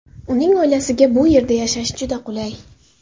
Uning oilasiga bu yerda yashash juda qulay.